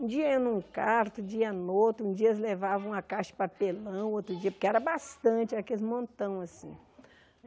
Um dia iam num carto, um dia em outro, um dia eles levavam uma caixa de papelão, outro dia... porque era bastante, aqueles montão assim.